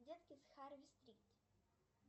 детки с харви стрит